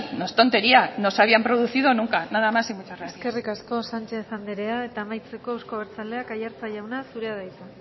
no es tontería no se habían producido nunca nada más y muchas gracias eskerrik asko sánchez andrea eta amaitzeko euzko abertzaleak aiartza jauna zurea da hitza